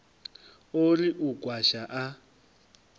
o ri u kwasha a